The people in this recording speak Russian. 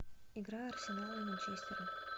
игра арсенала и манчестера